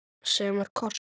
Sem er kostur!